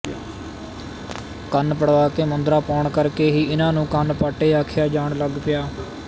ਕੰਨ ਪੜਵਾ ਕੇ ਮੁੰਦਰਾਂ ਪੁਆਉਣ ਕਰਕੇ ਹੀ ਇਹਨਾਂ ਨੂੰ ਕੰਨ ਪਾਟੇ ਆਖਿਆ ਜਾਣ ਲਗ ਪਿਆ